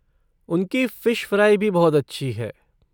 उनकी fish fry भी बहुत अच्छी है।